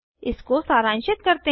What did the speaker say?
इसको सारांशित करते हैं